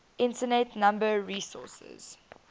internet number resources